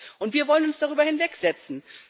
Und wir wollen uns darüber hinwegsetzen?